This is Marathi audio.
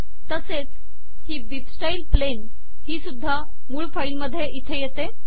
तसेच ही bibstyle प्लेन ही सुद्धा मूळ फाईल मध्ये इथे येते